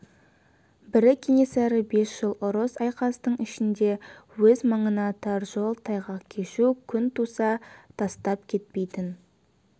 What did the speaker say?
бірі кенесары бес жыл ұрыс-айқастың ішінде өз маңына тар жол тайғақ кешу күн туса тастап кетпейтін